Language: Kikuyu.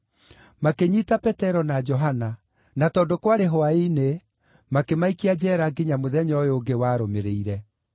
Makĩnyiita Petero na Johana, na tondũ kwarĩ hwaĩ-inĩ, makĩmaikia njeera nginya mũthenya ũyũ ũngĩ warũmĩrĩire.